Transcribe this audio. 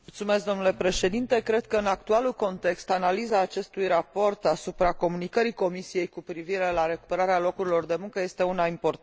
Cred că, în actualul context, analiza acestui raport asupra comunicării Comisiei cu privire la recuperarea locurilor de muncă este una importantă.